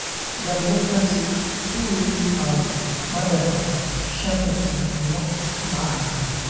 dalbo tagsi si uu iigu qaado madaarka 5:00 subaxnimo Jimcaha